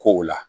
Ko o la